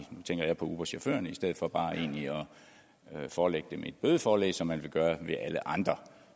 tænker jeg på uberchaufførerne i stedet for bare egentlig at forelægge dem et bødeforelæg som man ville gøre med alle andre